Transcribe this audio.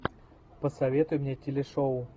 посоветуй мне телешоу